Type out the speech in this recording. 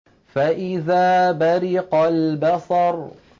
فَإِذَا بَرِقَ الْبَصَرُ